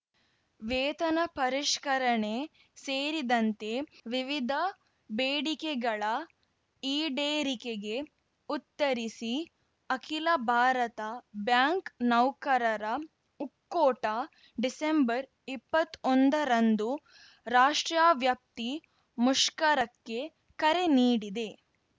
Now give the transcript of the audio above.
ವೇತನ ಪರಿಷ್ಕರಣೆ ಸೇರಿದಂತೆ ವಿವಿಧ ಬೇಡಿಕೆಗಳ ಈಡೇರಿಕೆಗೆ ಉತ್ತರಿಸಿ ಅಖಿಲ ಭಾರತ ಬ್ಯಾಂಕ್‌ ನೌಕರರ ಒಕ್ಕೋಟ ಡಿಸೆಂಬರ್ಇಪ್ಪತ್ ಒಂದರಂದು ರಾಷ್ಟ್ರವ್ಯಾಪ್ತಿ ಮುಷ್ಕರಕ್ಕೆ ಕರೆ ನೀಡಿದೆ